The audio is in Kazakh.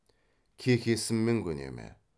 кекесінмен көне ме